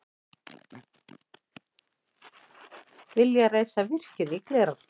Vilja reisa virkjun í Glerárdal